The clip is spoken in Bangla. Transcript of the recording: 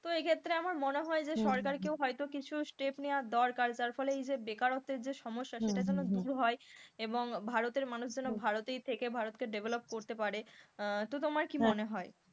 তো এক্ষেত্রে আমার মনে হয় যে সরকার কেউ হয়তো কিছু step নেয়া দরকার যার ফলে বেকারত্বের যে সমস্যা সেটা যেন দূর হয় এবং ভারতের মানুষ যেন ভারতেই থেকে ভারতকে develop করতে পারে, তো তোমার কি মনে হয়?